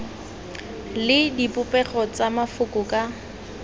le dipopego tsa mafoko ka